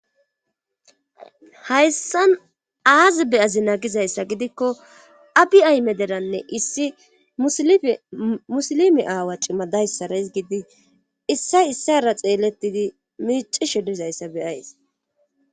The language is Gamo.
Hayssan aazi beyazi nagizayssa gidikko abi aymederanne issi musilime aawa cima dayssaras gidi issay issara xeelettidi miici shidizayssa beyays.